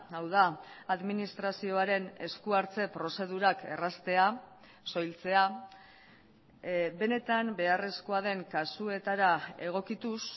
hau da administrazioaren eskuartze prozedurak erraztea soiltzea benetan beharrezkoa den kasuetara egokituz